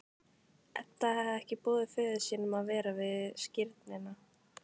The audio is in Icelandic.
Edda hafði ekki boðið föður sínum að vera við skírnina.